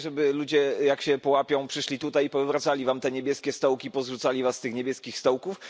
Chcecie, żeby ludzie, jak się połapią, przyszli tutaj i powywracali wam te niebieskie stołki i pozrzucali was z tych niebieskich stołków?